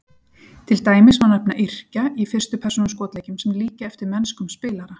Til dæmis má nefna yrkja í fyrstu persónu skotleikjum sem líkja eftir mennskum spilara.